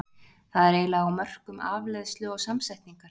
Það er eiginlega á mörkum afleiðslu og samsetningar.